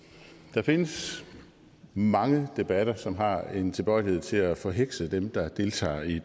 der findes mange debatter som har en tilbøjelighed til at forhekse dem der deltager i